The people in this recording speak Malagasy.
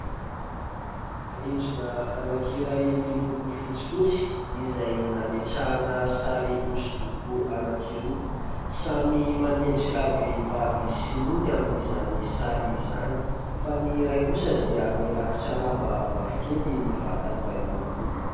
Rindrina anankiray miloko fotsifotsy izay nametrahana sary hosodoko anankiroa. Samy manendrika vehivavy sinoa ny amin'izany sary izany, fa ny iray kosa dia mirakotra lamba mavokely ny vatany iray manontolo.